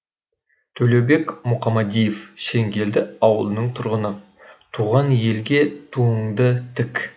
төлеубек мұқамадиев шеңгелді ауылының тұрғыны туған елге туыңды тік